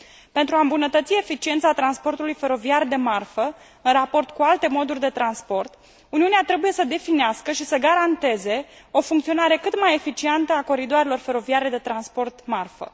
Pentru a îmbunătăți eficiența transportului feroviar de marfă în raport cu alte moduri de transport, Uniunea trebuie să definească și să garanteze o funcționare cât mai eficientă a coridoarelor feroviare de transport de marfă.